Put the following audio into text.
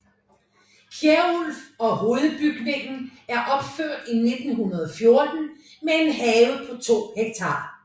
Kjærulf og hovedbygningen er opført i 1914 med en have på 2 hektar